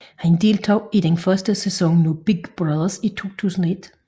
Han deltog i den første sæson af Big Brother i 2001